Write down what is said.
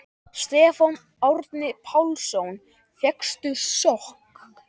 Stefán Árni Pálsson: Fékkstu sjokk?